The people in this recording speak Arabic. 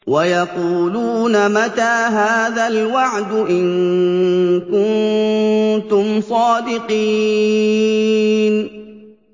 وَيَقُولُونَ مَتَىٰ هَٰذَا الْوَعْدُ إِن كُنتُمْ صَادِقِينَ